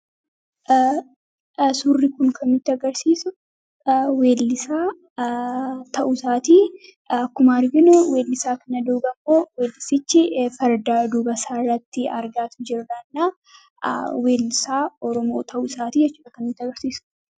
Suurri kun kan nuuti agarsiisu weellisaa ta'usaatii akkuma arginuu weellisaa kana dubaa ammoo weellisichi fardaa dubasaarratti argaatu jirranaa weelisaa oromoo ta'uu isaatii jechudha kan nutti agarsiisu.